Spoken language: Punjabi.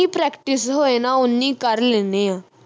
ਜਿੰਨੀ practice ਹੋਏ ਨਾ ਓਨੀ ਕਰ ਲੈਨੇ ਆ